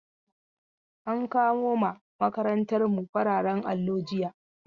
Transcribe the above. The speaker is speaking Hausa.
An kawo ma makarantar mu fararen allo jiya